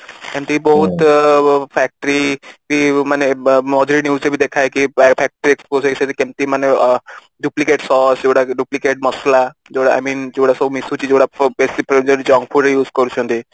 ସେମିତି ବହୁତ factory ମାନେ ମଝିରେ news ରେ ବି ଦେଖାଏ କି କେମିତି factory ରେ କେମିତି ମାନେ duplicate sauce duplicate ମସଲା I mean ଯୋଉ ଗୁଡା ସବୁ ମିଶୁଛି ବେଶୀ ଯୋଉ ଗୁଡା junk food use କରୁଛନ୍ତି